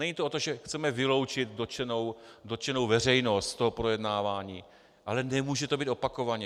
Není to o tom, že chceme vyloučit dotčenou veřejnost z toho projednávání, ale nemůže to být opakovaně.